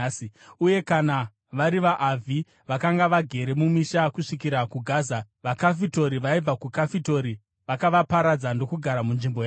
Uye kana vari vaAvhi vakanga vagere mumisha kusvikira kuGaza, vaKafitori vaibva Kafitori vakavaparadza ndokugara munzvimbo yavo.)